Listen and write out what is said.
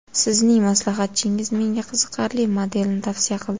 Sizning maslahatchingiz menga qiziqarli modelni tavsiya qildi.